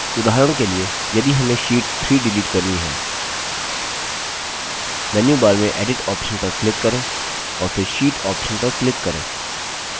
उदाहरण के लिए यदि हमें sheet 3 डिलीट करनी है मेन्यूबार में edit option पर click करें और फिर sheet option पर click करें